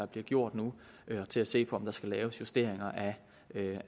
bliver gjort nu og til at se på om der skal laves justeringer